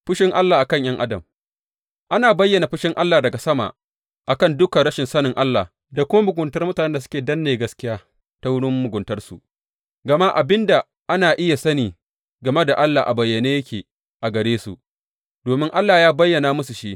Fushin Allah a kan ’yan adam Ana bayyana fushin Allah daga sama a kan dukan rashin sanin Allah da kuma muguntar mutanen da suke danne gaskiya ta wurin muguntarsu, gama abin da ana iya sani game da Allah a bayyane yake a gare su, domin Allah ya bayyana musu shi.